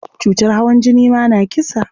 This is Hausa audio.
Cutar hawan jini ma na kisa.